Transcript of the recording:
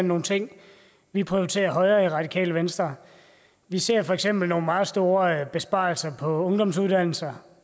nogle ting vi prioriterer højere i radikale venstre vi ser for eksempel nogle meget store besparelser på ungdomsuddannelser